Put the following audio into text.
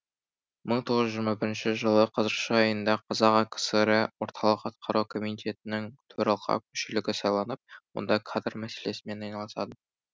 мың тоғыз жүз жиырма бірінші жылы қараша айында қазақ акср і орталық атқару комитетінің төралқа мүшелігі сайланып онда кадр мәселесімен айналысады